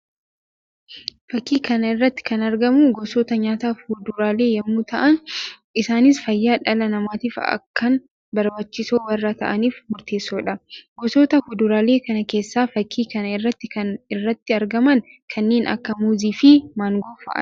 Fakkii kana irratti kan argamu gosoota nyaataa fuduraalee yammuu ta'an; isaannis fayyaa dhala namatiif akkaan barbaachisoo warra ta'aniif murteessoodha. Gosota fuduraalee kana keessaa fakkii kana irratti kan irratti argaman kanneen akka muuzii fi maangoo fa'aa dha.